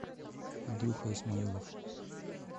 андрюха исмаилов